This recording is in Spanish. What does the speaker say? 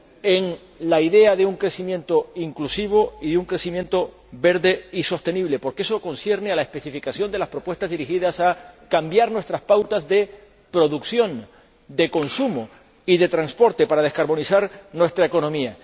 en la idea de un crecimiento inclusivo y un crecimiento verde y sostenible. Porque eso concierne a la especificación de las propuestas dirigidas a cambiar nuestras pautas de producción, de consumo y de transporte para descarbonizar nuestra economía.